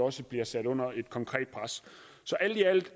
også bliver sat under et konkret pres så alt i alt